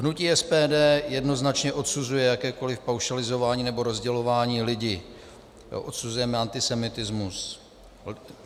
Hnutí SPD jednoznačně odsuzuje jakékoliv paušalizování nebo rozdělování lidí, odsuzujeme antisemitismus.